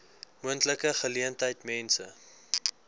moontlike geleentheid mense